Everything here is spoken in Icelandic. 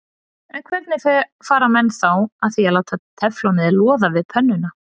En hvernig fara menn þá að því að láta teflonið loða við pönnuna?